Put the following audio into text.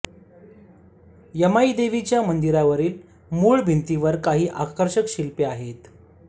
यमाईदेवीच्या मंदिरावरील मूळ भिंतीवर काही आकर्षक शिल्पे आहेत